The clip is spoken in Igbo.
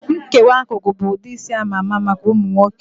Nkewa akụkụ bụ ụdị isi ama ama maka ụmụ nwoke